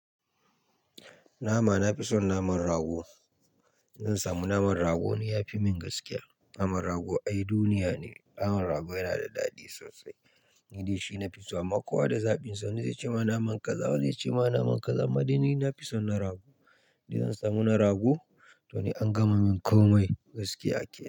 Nama, nafison naman rago. Zan samu naman rago, ni yafi min gaskiya. Naman rago ai duniya ne. Naman rago yana da daɗi sosai. Ni dai shi nafiso. Amma kowa da zaɓinsa. Wani zai ce ma naman kaza, wani zai ce ma naman kaza. Amma dai ni nafison na rago. Ni zan samu na rago, don angama min komai gaskiya ake.